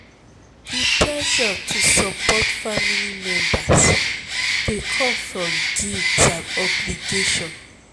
di pressure to support family members dey come with guilt and obligation.